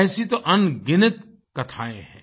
ऐसी तो अनगिनत कथाएँ हैं